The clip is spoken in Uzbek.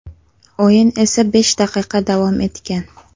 O‘yin esa besh daqiqa davom etgan.